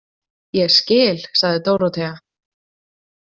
Ég skil, sagði Dórótea.